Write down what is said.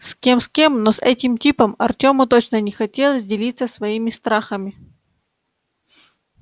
с кем с кем но с этим типом артёму точно не хотелось делиться своими страхами